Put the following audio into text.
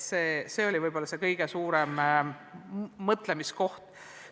See oli võib-olla kõige suurem mõtlemisekoht.